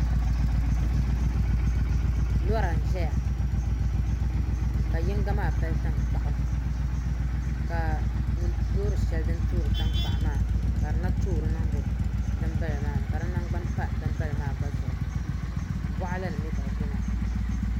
Lora n ʒɛya ka yinga maa pali tankpaɣu ka loori shɛli din toori tankpaɣu maa ka di na toori niŋdi dinbala maa ni ka di nagbani pa dinbala maa gba zuɣu boɣali ni mii ka bi biɛ maa